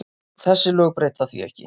Þessi lög breyta því ekki.